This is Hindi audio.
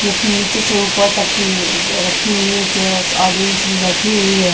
जो कि नीचे से ऊपर तक की रखी हुई है चेयर्स ऑडियंस भी बैठी हुई है।